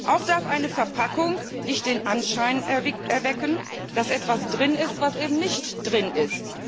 Auch darf eine Verpackung nicht den Anschein erwecken, dass etwas drin ist, was eben nicht drin ist.